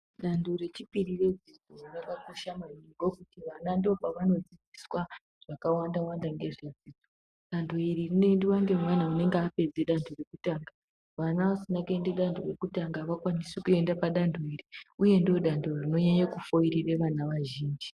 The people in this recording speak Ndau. Danto rechipiri redzidzo rwakakosha maningi. Vana ndopavanodzidziswa zvakawanda-wanda ngedzidzo. Danto iri rinoendiwa ngemwana unonga apedze danto rekutanga kwoita. Vana asina kupedze danto rekutanga avakwanisi kuende padanto iri, uye ndiro danto rinonyanye kufoirire vana vazhinji.